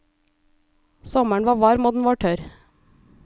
Sommeren var varm, og den var tørr.